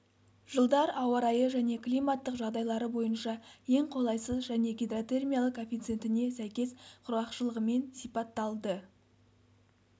жылдар ауа-райы және климаттық жағдайлары бойынша ең қолайсыз және гидротермиялық коэффициентіне сәйкес құрғақшылығымен сипатталды